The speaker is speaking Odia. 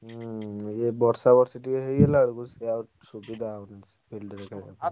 ହୁଁ ୟେ ବର୍ଷା ବର୍ଷି ଟିକେ ହେଇଗଲାବେଳକୁ ସିଏ ଆଉ ସୁବିଧା ହଉନି field ରେ ଖେଳିବା ପାଇଁ।